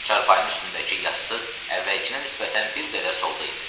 Çarpayının üstündəki yastıq əvvəlkinə nisbətən bir qədər solda idi.